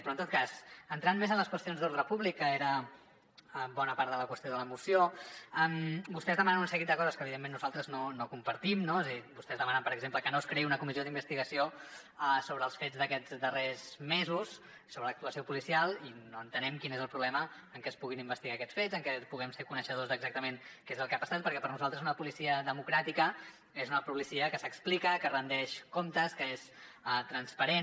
però en tot cas entrant més en les qüestions d’ordre públic que era bona part de la qüestió de la moció vostès demanen un seguit de coses que evidentment nosaltres no compartim no és a dir vostès demanen per exemple que no es creï una comissió d’investigació sobre els fets d’aquests darrers mesos sobre l’actuació policial i no entenem quin és el problema amb que es puguin investigar aquests fets amb que puguem ser coneixedors d’exactament què és el que ha passat perquè per a nosaltres una policia democràtica és una policia que s’explica que ret comptes que és transparent